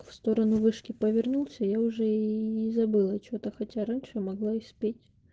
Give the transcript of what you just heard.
в сторону вышки повернулся я уже ии забыла что-то хотя раньше могла испечь